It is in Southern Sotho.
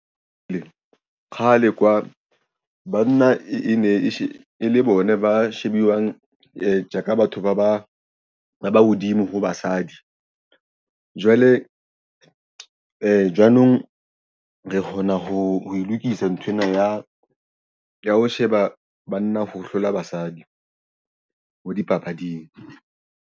Kgale kwa banna e ne e le bona ba shebuwang tje ka batho ba hodimo ho basadi. Jwale jwanong re kgona ho e lokisa nthwena ya ho sheba banna ho hlola basadi ho dipapading.